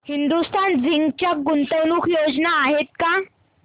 Hindustan zinc च्या गुंतवणूक योजना आहेत का